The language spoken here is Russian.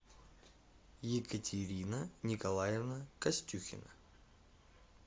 екатерина николаевна костюхина